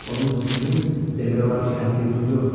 Onun hökmünün demək olar ki, həddi-hüdudu yoxdur.